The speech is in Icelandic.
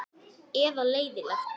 Eða leiðinlegt?